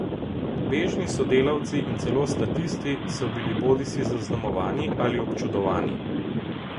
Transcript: Bežni sodelavci in celo statisti so bili bodisi zaznamovani ali občudovani.